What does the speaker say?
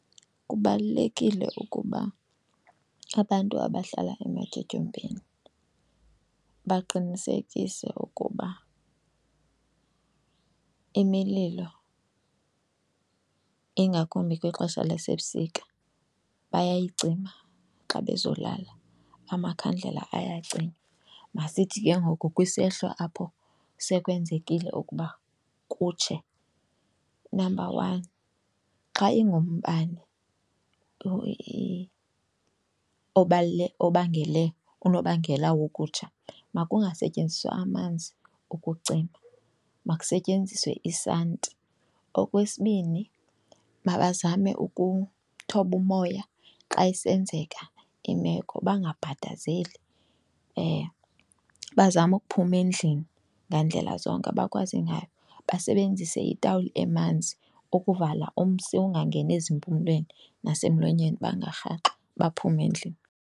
Kubalulekile ukuba abantu abahlala ematyotyombeni baqinisekise ukuba imililo, ingakumbi kwixesha lasebusika, bayayicima xa bezolala, amakhandlela ayacinywa. Masithi ke ngoku kwisehlo apho sekwenzekile ukuba kutshe. Unamba one, xa ingumbane obangele unobangela wokutsha makungasetyenziswa amanzi ukucima makusetyenziswe isanti. Okwesibini, mabazame ukuthoba umoya xa isenzeka imeko bangabhadazeli. Bazame ukuphuma endlini ngandlela zonke abakwazi ngayo, basebenzise itawuli emanzi ukuvala umsi ungangeni ezimpumlweni nasemlonyeni, bangarhaxwa baphume endlini.